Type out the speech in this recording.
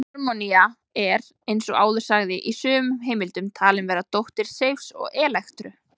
Harmonía er, eins og áður sagði, í sumum heimildum talin vera dóttir Seifs og Elektru.